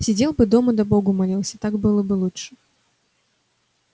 сидел бы дома да богу молился так было бы лучше